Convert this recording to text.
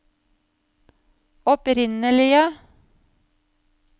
opprinnelige